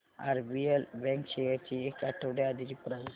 RBL bank shares ची एक आठवड्या आधीची प्राइस